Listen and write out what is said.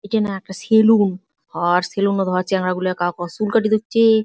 ইটা না একটা সেলুন | ও-র সেলুনে চেংড়া গুলা কাহকো চুল কাটি দচ্ছে ।